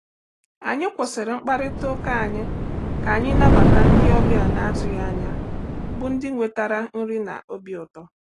Anyị kwụsịrị mkparịta ụka anyị ka anyị nabata ndị ọbịa na-atụghị anya bụ̀ ndị wetara nri na obi ụtọ.